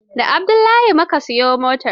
Da Abdullahi mu ka siyo motar.